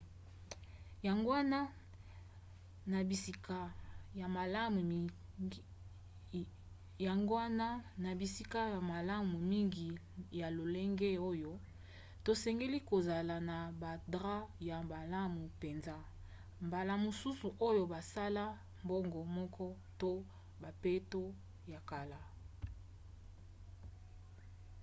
yango wana na bisika ya malamu mingi ya lolenge oyo tosengeli kozala na badrap ya malamu mpenza mbala mosusu oyo basala bango moko to bambeto ya kala